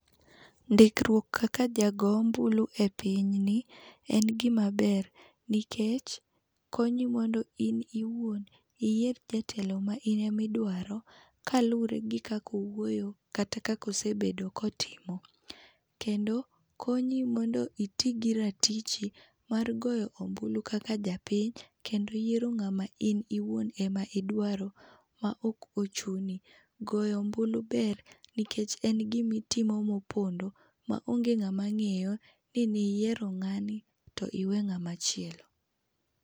Ndikruok kaka jago ombulu e piny ni en gima ber nikech konyi mondo in iwuon iyier jatelo ma in ema idwaro, kaluwore gi kaka owuoyo kata kaka ose bedo ka otimo. Kendo konyi mondo iti gi ratichi mar goyo ombulu kaka japiny, kendo yiero ng'ama in iwuon ema idwaro, ma ok ochuni. Goyo ombulu ber nikech en gima itimo mopondo, maonge ng'ama ng'eyo ni niyiero ng'ani, tiwe ng'ama chielo.